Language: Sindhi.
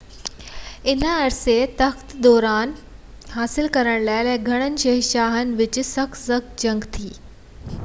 انهي عرصن دوران تخت لاءِ ڪيترن ئي شهنشاهن جي وچ ۾ سخت سخت جنگ ڇڙي وئي